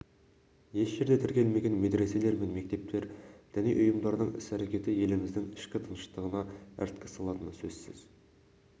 еш жерде тіркелмеген медреселер мен мектептер діни ұйымдардың іс-әрекеттері еліміздің ішкі тыныштығына іріткі салатыны сөзсіз